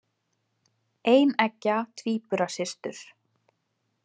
Eineggja tvíburasystur.